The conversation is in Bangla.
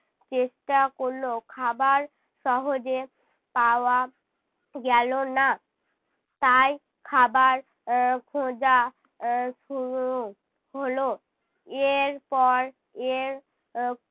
চেষ্টা করলো। খাবার সহজে পাওয়া গেলো না। তাই খাবার এর খোঁজা এর আহ শুরু হলো। এরপর এর আহ